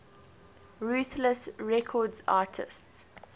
ruthless records artists